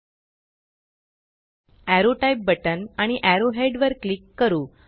arrow type arrow type button आणि arrow head arrow head वर click करू